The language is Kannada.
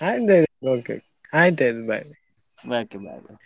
ಆಯ್ತಾಯ್ತು bye bye .